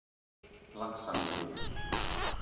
Laxamýri